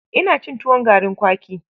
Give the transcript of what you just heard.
Ina cin tuwon garin kwaki.